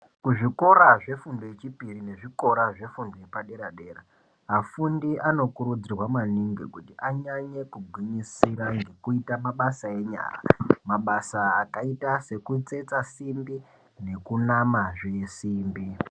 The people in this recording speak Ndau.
Kuzvikora zvefundo yechipiri nekuzvikora zvefundo yepadera dera afundi anokurudzirwa maningi kuti anyanye kugwinyisira ngekuite mabasa enyara mabasa akaita sekutsetsa simbi nekunamazve simbi.